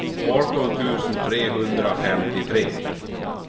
arton tusen trehundrafemtiotre